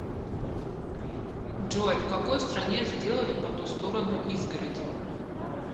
джой в какой стране сделали по ту сторону изгороди